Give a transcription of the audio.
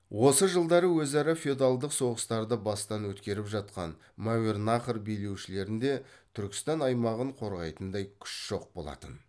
осы жылдары өзара феодалдық соғыстарды бастан өткеріп жатқан мәуереннахр билеушілерінде түркістан аймағын қорғайтындай күш жоқ болатын